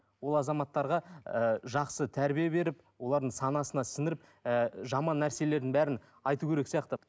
олар азаматтарға ыыы жақсы тәрбие беріп олардың санасына сіңіріп ііі жаман нәрселердің бәрін айту керек сияқты